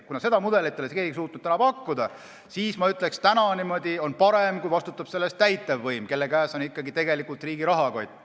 Kuna seda mudelit ei ole keegi suutnud pakkuda, siis ma ütleksin nii, et on parem, kui selle eest vastutab täitevvõim, kelle käes on riigi rahakott.